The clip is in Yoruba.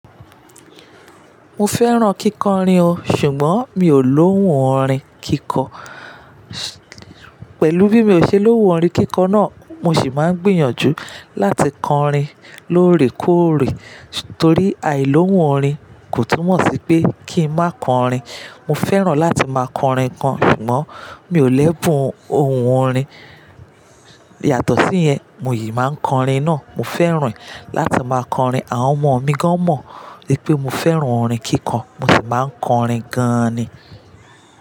Mo fẹ́ràn kíkọ orin o, ṣùgbọ́n mi ò lóhùn orin kíkọ. Pẹ̀lú bí mi o ṣe lóhùn orin kíkọ náà, mo sì máa gbìyànjú láti kọ orin lóòrèkóòrè torí àìlóhùn orin kò túmọ̀ sí pé kí n má kọ orin. Mo fẹ́ràn láti máa kọ orin kan ṣùgbọ́n mi ò lẹ́bùn ohùn orin. Yàtọ̀ sí yẹn, mo yìí máa kọ orin náà. Mo fẹ́ràn e láti máa kọ orin àwọn ọmọ mi gan mọ̀ wípé mo fẹ́ràn orin kíkọ mo sì máa kọ orin gan-an ni.